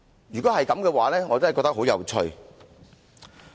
如果真的是這樣，我感到相當有趣。